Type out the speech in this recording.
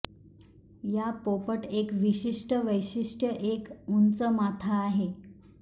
या पोपट एक विशिष्ट वैशिष्ट्य एक उंच माथा आहे